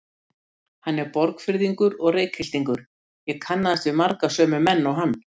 Hann er Borgfirðingur og Reykhyltingur, ég kannaðist við marga sömu menn og hann.